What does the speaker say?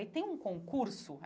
Aí tem um concurso.